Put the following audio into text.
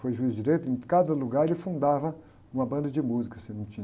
Foi juiz direito, em cada lugar ele fundava uma banda de música, se não tinha.